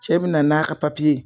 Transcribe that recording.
Cɛ bina n'a ka ye